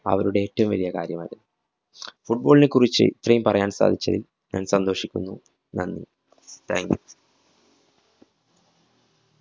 അവരുടെ ഏറ്റവും വലിയ കാര്യമാത്. Football നെ കുറിച്ച് ഇത്രയും പറയാന്‍ സാധിച്ചതില്‍ ഞാന്‍ സന്തോഷിക്കുന്നു, നന്ദി. thank you.